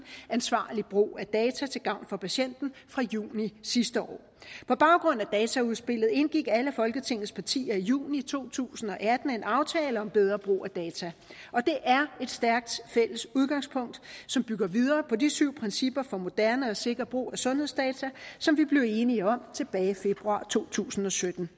ansvarlig brug af data til gavn for patienten fra juni sidste år på baggrund af dataudspillet indgik alle folketingets partier i juni to tusind og atten en aftale om bedre brug af data og det er et stærkt fælles udgangspunkt som bygger videre på de syv principper for moderne og sikker brug af sundhedsdata som vi blev enige om tilbage i februar to tusind og sytten